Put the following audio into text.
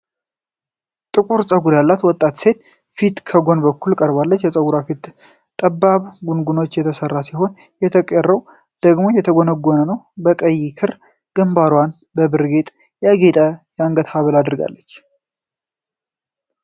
ጥቁር ፀጉር ያላት ወጣት ሴት ፊት ከጎን በኩል ቀርቧል። የፀጉርዋ ፊት ለፊት በጠባብ ጉንጉን የተሰራ ሲሆን፣ የተቀረው ደግሞ የተጎነጎነ ነው። በቀይ ክር ግንባርዋንና በብር ጌጣጌጥ ያጌጠ የአንገት ሐብል አድርጋለች።